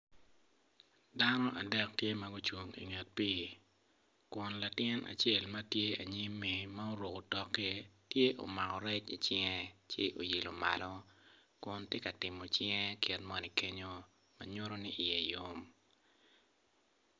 Dano adek tye ma gucung inget pii kun latin ma tye anyimmi ma oruko otokki tye omako rec icinge kun oilo malo kun tye ka timo cinge kit moni kenyo ma nyuto ni iye yom.